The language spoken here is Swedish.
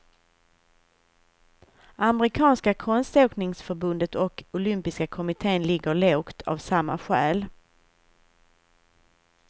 Amerikanska konståkningsförbundet och olympiska kommittén ligger lågt av samma skäl.